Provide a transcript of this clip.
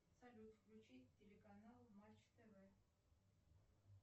салют включи телеканал матч тв